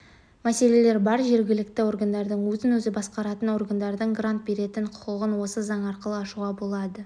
мәселелер бар жергілікті органдардың өзін-өзі басқаратын органдардың грант беретін құқығын осы заң арқылы ашуға болады